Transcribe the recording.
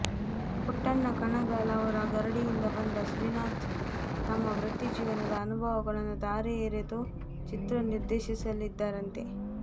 ಪುಟ್ಟಣ್ಣ ಕಣಗಾಲ್ ಅವರ ಗರಡಿಯಿಂದ ಬಂದ ಶ್ರೀನಾಥ್ ತಮ್ಮ ವೃತ್ತಿ ಜೀವನದ ಅನುಭವಗಳನ್ನು ಧಾರೆ ಎರೆದು ಚಿತ್ರ ನಿರ್ದೇಶಿಸಲಿದ್ದಾರಂತೆ